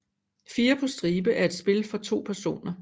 Fire på stribe er et spil for to personer